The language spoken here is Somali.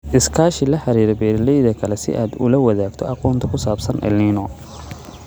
Iskaashi La xiriir beeralayda kale si aad ula wadaagto aqoonta ku saabsan El Niño.